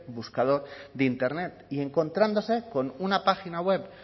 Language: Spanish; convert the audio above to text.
buscador de internet y encontrándose con una página web